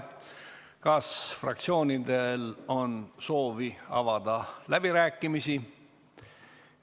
Kas fraktsioonidel on soovi avada läbirääkimisi?